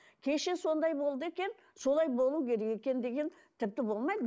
кеше сондай болды екен солай болу керек екен деген тіпті болмайды